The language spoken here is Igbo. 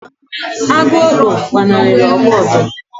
Agu okpo gbanarịra ọgụ ọdụm